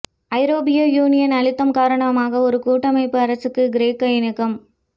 ஐரோப்பிய யூனியனின் அழுத்தம் காரணமாக ஒரு கூட்டமைப்பு அரசுக்கு கிரேக்கம் இணக்கம்